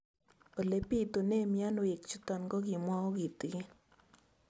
Ole pitune mionwek chutok ko kimwau kitig'�n